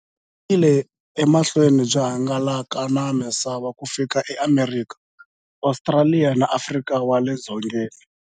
Byi yile emahlweni byi hangalaka na misava ku fika e Amerika, Ostraliya na Afrika wale dzongeni.